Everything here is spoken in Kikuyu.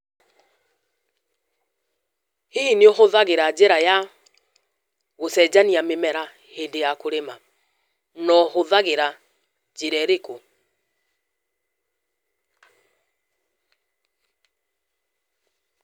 Read prompt question only